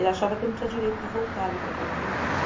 Ele achava que eu não tinha direito de voltar ali para a casa do meu pai.